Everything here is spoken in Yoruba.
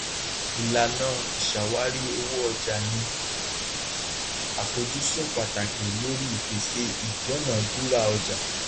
ìlànà ìṣàwárí owóọjà ni àfojúsùn pàtàkì lórí ipèsè ìdúnàdúrà ọjà